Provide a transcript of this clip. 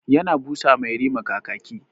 Ya na busa ma yarima kakaki.